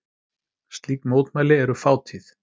Slík mótmæli eru fátíð